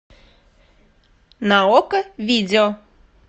на окко видео